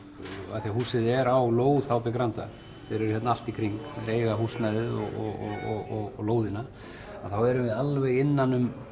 af því að húsið er á lóð h b Granda þeir eru hérna allt í kring þeir eiga húsnæðið og lóðina þá erum við alveg innan um